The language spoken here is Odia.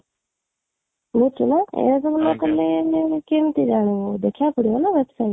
ଶୁଣୁଛୁ ନା ମାନେ କେମିତି ଜାଣିବୁ, ଦେଖିବାକୁ ପଡିବ ନା website